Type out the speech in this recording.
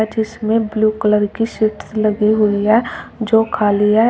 जिसमें blue colour की seats लगी हुई हैं जो खाली है।